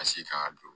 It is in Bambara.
A si kan ka don